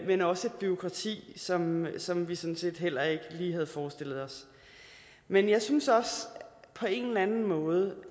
men også bureaukrati som som vi sådan set heller ikke lige havde forestillet os men jeg synes på en eller anden måde